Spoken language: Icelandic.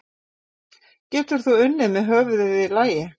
Getur þú unnið með höfuðið í lagi?